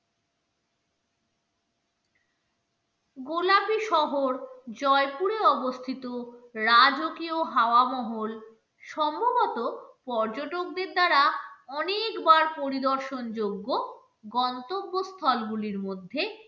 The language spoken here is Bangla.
গোলাপি শহর জয়পুরে অবস্থিত রাজকীয় হাওয়া মহল সম্ভবত পর্যটকদের দ্বারা অনেকবার পরিদর্শন যোগ্য গন্তব্য স্থলগুলির মধ্যে